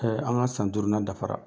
an ŋa san duurunan dafara.